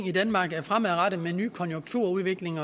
i danmark fremadrettet med en ny konjunkturudvikling